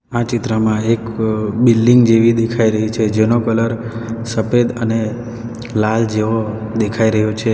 આ ચિત્રમાં એક બિલ્ડીંગ જેવી દેખાઈ રહી છે જેનો કલર સફેદ અને લાલ જેવો દેખાઈ રહ્યો છે.